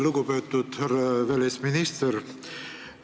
Lugupeetud härra välisminister!